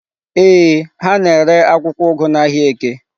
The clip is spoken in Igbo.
Ee, ha na-ere akwụkwọ ugu n'ahịa Eke.